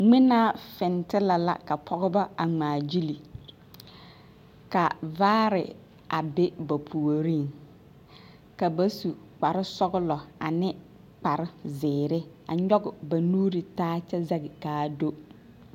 Ŋmenaa fintilԑ la ka pͻgebͻ a ŋmaa gyili. Ka vaare abe ba puoriŋ ka ba su kpare sͻgelͻ ane kpare zeere a nyͻge ba nuuri taa kyԑ zԑge ka a do.